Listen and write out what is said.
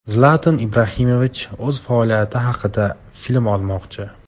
Zlatan Ibrohimovich o‘z faoliyati haqida film olmoqchi.